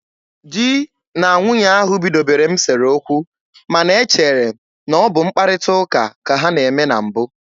Di na nwunye ahụ bidobere m sere okwu, ma na e chere na ọ bụ mkparịta ụka ka ha na-eme na mbụ.